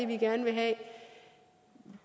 vi gerne vil have